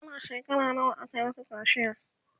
kana shekara nawa aka Maka kaciya?